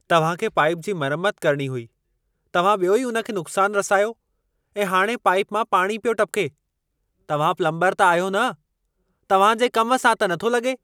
तव्हांखे पाइप जी मरमत करणी हुई। तव्हां ॿियो ई उन खे नुक़्सान रसायो ऐं हाणे पाइप मां पाणी पियो टपिके! तव्हां प्लम्बरु त आहियो न? तव्हां जे कम सां त नथो लगे॒।